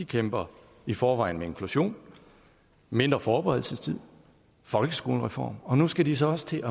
kæmper i forvejen med inklusion mindre forberedelsestid og folkeskolereform og nu skal de så også til